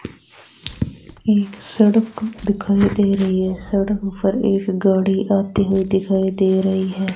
एक सड़क दिखाई दे रही है सड़क पर एक गाड़ी आती हुई दिखाई दे रही है।